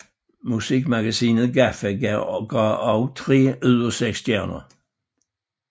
Musikmagasinet GAFFA gav også tre ud af seks stjerner